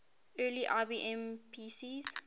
early ibm pcs